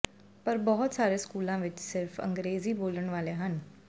ਪਰ ਬਹੁਤ ਸਾਰੇ ਸਕੂਲਾਂ ਵਿਚ ਸਿਰਫ਼ ਅੰਗ੍ਰੇਜ਼ੀ ਬੋਲਣ ਵਾਲੇ ਹਨ